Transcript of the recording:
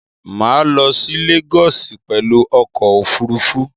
Mà á lo sí Lagos pèlu okò òfurufú